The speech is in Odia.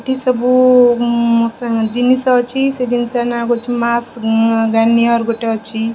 ଏଠି ସବୁ ଉଁ ମସା ଜିନିଷ ଅଛି ସେ ଜିନିଷର ନାଁ ହୋଉଚି ମାସ୍ ଉଁ ଗାନିଅର୍ ଗୋଟେ ଅଛି।